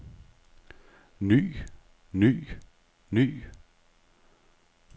ny ny ny